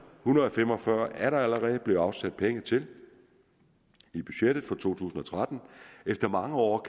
hundrede og fem og fyrre er der allerede blevet afsat penge til i budgettet for to tusind og tretten efter mange år